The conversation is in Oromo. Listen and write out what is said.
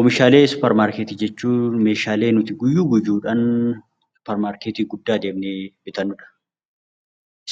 Oomishaalee suupermaarkeetii jechuun oomishaalee nuti guyyaa guyyaadhaan suupermaarkeetii guddaa deemnee bitannudha.